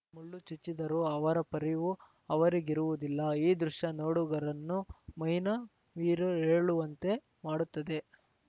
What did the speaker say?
ಮುಳ್ಳು ಚುಚ್ಚಿದರೂ ಅವರ ಪರಿವು ಅವರಿಗಿರುವುದಿಲ್ಲ ಈ ದೃಶ್ಯ ನೋಡುಗರನ್ನು ಮೈನವಿರೇಳುವಂತೆ ಮಾಡುತ್ತದೆ